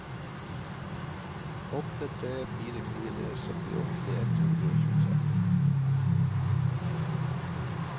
åtte tre fire fire syttiåtte ett hundre og tjuetre